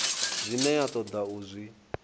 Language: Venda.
zwine ya toda u zwi